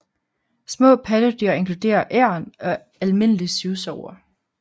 Små pattedyr inkluderer egern og almindelig syvsover